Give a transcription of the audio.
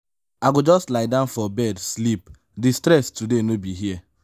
i go just lie down for bed sleep di stress today no be here.